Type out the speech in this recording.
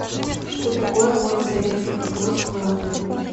что такое ввод советских войск в латвию